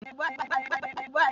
Aṅụ na-eme mmanụ aṅụ.